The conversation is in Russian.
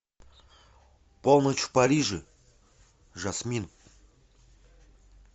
полночь в париже жасмин